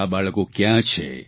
આ બાળકો કયાં છે